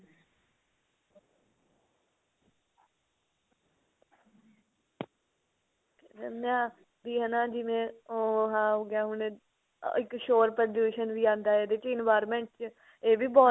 ਮੰਨਿਆ ਕਿ ਹਨਾ ਜਿਵੇਂ ਉਹ ਆਹ ਹੋ ਗਿਆ ਹੁਣ ਇੱਕ ਸ਼ੋਰ ਪ੍ਰਦੂਸ਼ਨ ਵੀ ਆਂਦਾ ਹੈ ਇਹਦੇ ਚ environment ਇਹ ਵੀ ਬਹੁਤ